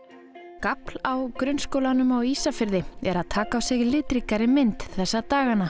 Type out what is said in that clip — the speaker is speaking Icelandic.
gafl á grunnskólanum á Ísafirði er að taka á sig litríkari mynd þessa dagana